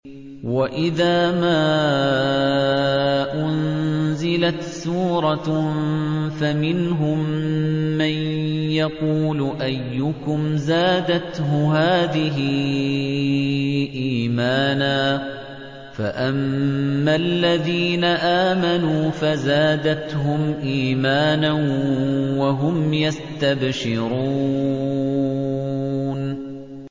وَإِذَا مَا أُنزِلَتْ سُورَةٌ فَمِنْهُم مَّن يَقُولُ أَيُّكُمْ زَادَتْهُ هَٰذِهِ إِيمَانًا ۚ فَأَمَّا الَّذِينَ آمَنُوا فَزَادَتْهُمْ إِيمَانًا وَهُمْ يَسْتَبْشِرُونَ